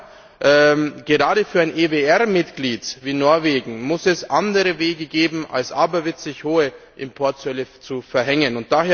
Aber gerade für ein EWR Mitglied wie Norwegen muss es andere Wege geben, als aberwitzig hohe Importzölle zu verhängen.